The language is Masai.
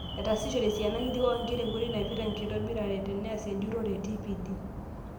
Etaasishore esiana kiti oonkera enkoitoi naipirta enkitobirare teneas enjurore e TPD.